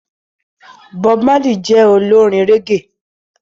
Bob Marley jé Olorin reggae